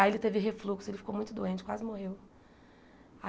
Aí ele teve refluxo, ele ficou muito doente, quase morreu.